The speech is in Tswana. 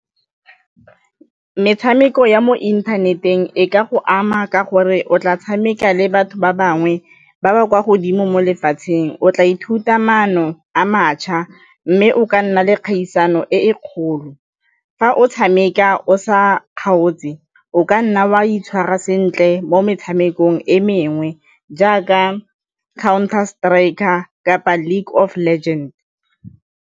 Metshameko ya mo inthaneteng e ka go ama ka gore o tla tshameka le batho ba bangwe ba ba kwa godimo mo lefatsheng o tla ithuta maano a mašwa mme o ka nna le kgaisano e e kgolo. Fa o tshameka o sa kgaotse o ka nna wa itshwara sentle mo metshamekong e mengwe jaaka Counter Striker kapa League of Legends.